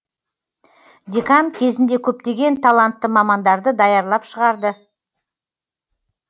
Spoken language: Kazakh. декан кезінде көптеген талантты мамандарды даярлап шығарды